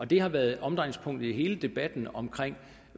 det har været omdrejningspunktet i hele debatten omkring